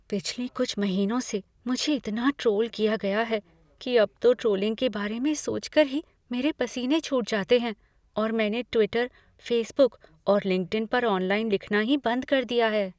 पिछले कुछ महीनों से मुझे इतना ट्रोल किया गया है कि अब तो ट्रोलिंग के बारे में सोचकर ही मेरे पसीने छूट जाते हैं और मैंने ट्विटर, फेसबुक और लिंक्डिन पर ऑनलाइन लिखना ही बंद कर दिया है।